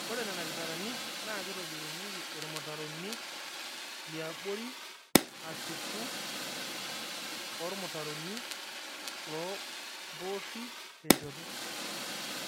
ore Nena kitarani naa kitobirunyieki irmutaroni liabori ashuku oo ormutaroni loo mboori tenshoto